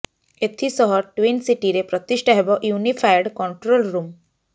ଏଥିସହ ଟ୍ୱିନ ସିଟିରେ ପ୍ରତିଷ୍ଠା ହେବ ୟୁନିଫାଏଡ କଣ୍ଟ୍ରୋଲ ରୁମ୍